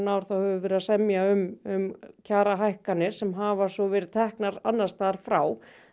ár þá höfum við verið að semja um kjarahækkanir sem hafa svo verið teknar annars staðar frá